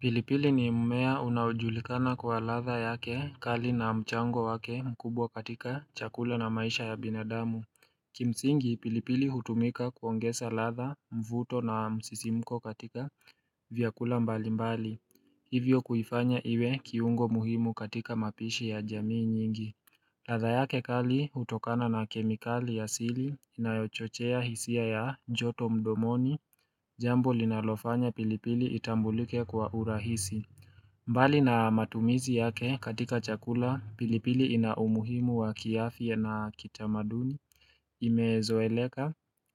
Pilipili ni mmea unaojulikana kwa ladha yake kali na mchango wake mkubwa katika chakula na maisha ya binadamu. Kimsingi, pilipili hutumika kuongeza ladha, mvuto na msisimuko katika vyakula mbalimbali. Hivyo kuifanya iwe kiungo muhimu katika mapishi ya jamii nyingi. Ladha yake kali hutokana na kemikali ya asili, inayochochea hisia ya joto mdomoni, jambo linalofanya pilipili itambulike kwa urahisi. Mbali na matumizi yake katika chakula, pilipili ina umuhimu wa kiafya na kitamaduni, imezoeleka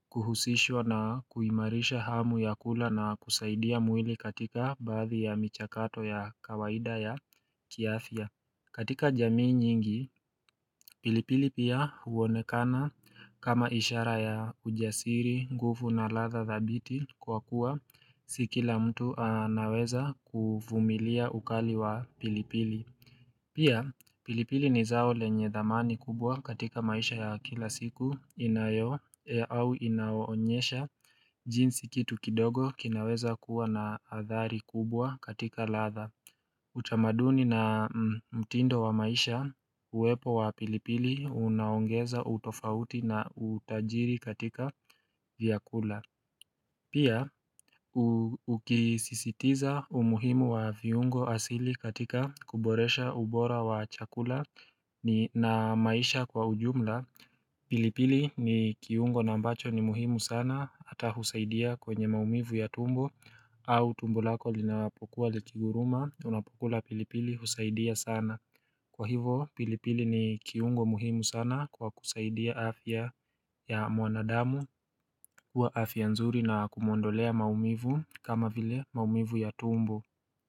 kuhusishwa na kuimarisha hamu ya kula na kusaidia mwili katika baadhi ya michakato ya kawaida ya kiafya. Katika jamii nyingi, pilipili pia huonekana kama ishara ya ujasiri, nguvu na ladha thabiti kwa kuwa, si kila mtu anaweza kuvumilia ukali wa pilipili. Pia, pilipili ni zao lenye dhamani kubwa katika maisha ya kila siku inayo au inaonyesha jinsi kitu kidogo kinaweza kuwa na athari kubwa katika ladha. Utamaduni na mtindo wa maisha, uwepo wa pilipili unaongeza utofauti na utajiri katika vyakula Pia ukisisitiza umuhimu wa viungo asili katika kuboresha ubora wa chakula na maisha kwa ujumla pilipili ni kiungo na ambacho ni muhimu sana hata husaidia kwenye maumivu ya tumbo au tumbo lako linapokuwa likinguruma, unapokula pilipili husaidia sana. Kwa hivyo pilipili ni kiungo muhimu sana kwa kusaidia afya ya mwanadamu Kwa afya nzuri na kumuondolea maumivu kama vile maumivu ya tumbo.